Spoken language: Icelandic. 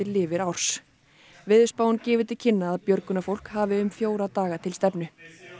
lifir árs veðurspáin gefur til kynna að björgunarfólk hafi um fjóra daga til stefnu